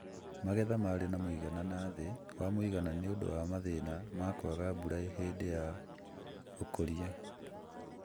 Magetha marĩ ma mũigana na thĩ wa mũigana nĩũndũ wa mathĩna ma kwaga mbura hindĩ ya ũkũria